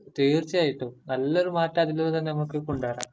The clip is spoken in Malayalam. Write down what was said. തീർച്ചയായിട്ടും, നല്ലൊരു മാറ്റം അതിലൂടെ തന്നെ നമ്മക്ക് കൊണ്ടുവരാം.